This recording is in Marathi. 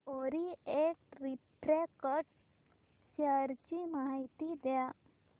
ओरिएंट रिफ्रॅक्ट शेअर ची माहिती द्या